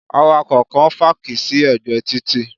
A driver parked at the road side